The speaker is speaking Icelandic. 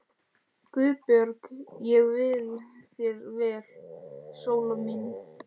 GUÐBJÖRG: Ég vil þér vel, Sóla mín.